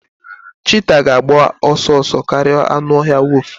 cheetah ga-agba ọsọ ọsọ karịa anụ ọhịa wolf